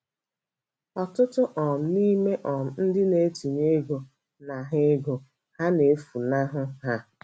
Ọtụtụ um n'ime um ndị na-etinye ego na ha ego ha na-efunahụ ha.